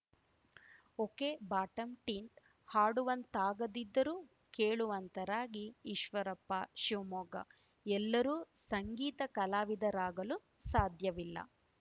ಒಕೆಬಾಟಂ ಟಿಂಟ್‌ಹಾಡುವಂತಾಗದಿದ್ದರೂ ಕೇಳುವಂತರಾಗಿ ಈಶ್ವರಪ್ಪ ಶಿವಮೊಗ್ಗ ಎಲ್ಲರೂ ಸಂಗೀತ ಕಲಾವಿದರಾಗಲು ಸಾಧ್ಯವಿಲ್ಲ